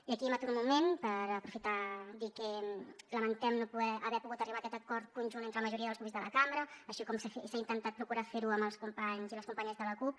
i aquí m’aturo un moment per aprofitar dir que lamentem no haver pogut arribar a aquest acord conjunt entre la majoria dels grups de la cambra així com s’ha intentat procurar fer ho amb els companys i les companyes de la cup